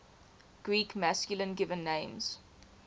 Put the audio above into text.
greek masculine given names